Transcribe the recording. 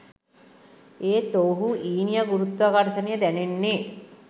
එහෙත් ඔවුහු ඊනියා ගුරුත්වාකර්ෂණය දැනෙන්නේ